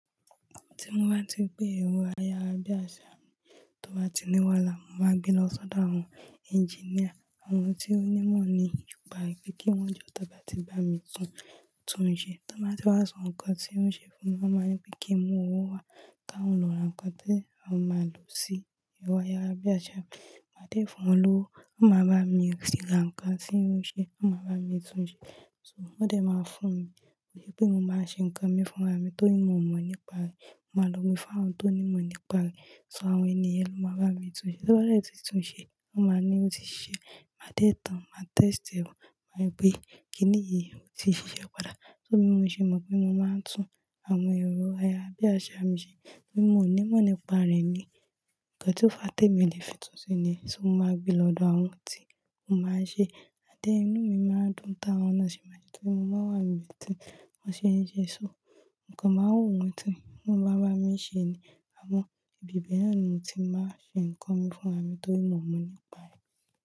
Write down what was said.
Tí mo bá tí ń gbé ẹro ayarabíàṣá mi tó bá ti ní wàhálà, mo máa gbé lọ sọ́dọ̀ àwọn engineer àwọn tí ó ní mọ̀ nípa rẹ̀ pé kí wọ́n jọ tó bá ti bá mi tún, tún un ṣe. Tó bá ti wá san ǹkan tí wọ́n ṣe fún mi, wọ́n máa ń wipe pé kí n mú owó wá, ki awon ń lọ ra ǹkan tí awon máa lò sí èrò ayarabíàṣá mi. Máa dé fún wọn lówó, wọ́n máa bá mi sì ń rà ǹkan tí oun ṣe, wọ́n máa bá mi tún un ṣe. So wọ́n dẹ̀ máa fún mi, wípé mo máa ń ṣe ǹkan mi fún ara mi torí mo mọ̀ nípa rẹ̀. Mo máa lọ mi fún àwọn tó ní mọ̀ nípa rẹ̀. So àwọn ènìyàn ló máa bá mi tún un ṣe. Ti won bá ti tún un ṣe, wọ́n máa ní ó ti ṣe, màá dẹ̀ tán, màá test ẹ̀, màá gbẹ́ kíni èyí ó ti ṣiṣẹ́ padà. So bí mo ṣe mọ̀ pé mo máa ń tún àwọn èrò ayarabíàṣá mi ṣe, torí mo ò ní mọ̀ nípa rẹ̀ ni ǹkan tí ó fa tèmi lè fi tún un ṣe ni. So mo máa gbé lo ọ́dọ̀ àwọn tí wọn máa ṣe, amd then inú mi máa dùn táwọn náà ṣe máa ṣe, torí mo máa wà níbi tí wọ́n ṣe ń ṣe, so ǹkan máa wo mí tí wọ́n bá bá mi ṣe ni. Àmọ́ ibi bẹ́ẹ̀ ni mo ti máa ń ṣe ǹkan mi fún ara mi torí mo mọ̀ nípa rẹ̀.